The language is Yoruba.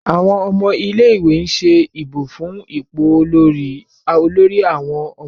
Àwọn ọmọ ilé ìwé ń ṣe ìbò fún ipò Olórí àwọn ọmọkùnrin